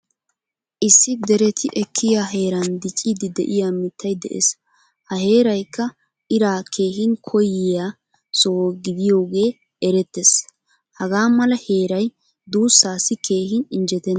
Issi deretti ekkiyaa heeran diccidi de'iyaa mittay de'ees. Ha heeraykka ira keehin koyiya soho gidiyogee erettees. Hagaa mala heeray duussassi keehin injjeettena.